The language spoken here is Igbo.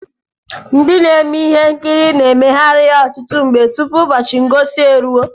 Ndị na-eme ihe nkiri na-emeghari ya ọtụtụ mgbe tụpụ ụbọchị ngosi eruo.